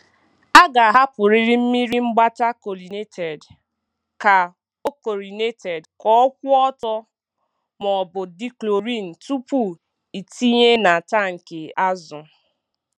A ga-ahapụrịrị mmiri mgbata chlorinated ka ọ chlorinated ka ọ kwụ ọtọ maọbụ dechlorin tupu ịtinye na tankị azụ.